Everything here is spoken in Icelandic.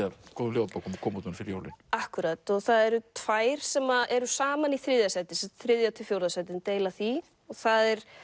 af góðum ljóðabókum að koma út núna fyrir jólin akkúrat og það eru tvær sem að eru saman í þriðja sæti þriðja til fjórða sæti deila því það er